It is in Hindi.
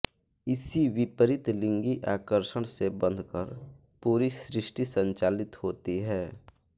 इसी विपरीत लिंगी आकर्षण से बंधकर पूरी सृष्टि संचालित होती है